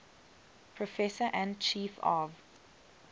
professor and chief of